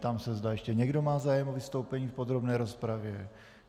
Ptám se, zda ještě někdo má zájem o vystoupení v podrobné rozpravě.